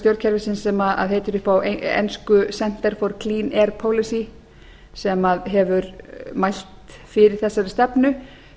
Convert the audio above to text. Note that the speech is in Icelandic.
stjórnkerfisins sem heitir upp á ensku center for clean air policy sem hefur mælt fyrir þessari stefnu